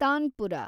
tanpura